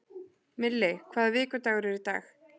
Milli, hvaða vikudagur er í dag?